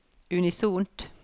unisont